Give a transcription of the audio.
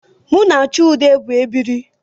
M na Chude bu ebiri